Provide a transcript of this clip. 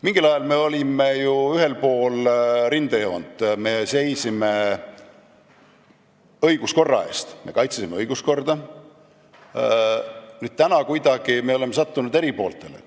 Mingil ajal me olime ju ühel pool rindejoont, me seisime õiguskorra eest, me kaitsesime õiguskorda, täna oleme kuidagi sattunud eri pooltele.